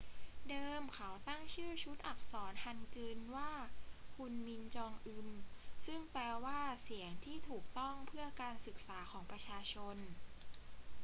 เดิมเขาตั้งชื่อชุดอักษรฮันกึลว่า ฮุนมิน จองอึม ซึ่งแปลว่า เสียงที่ถูกต้องเพื่อการศึกษาของประชาชน